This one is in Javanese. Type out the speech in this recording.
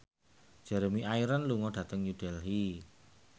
Jeremy Irons lunga dhateng New Delhi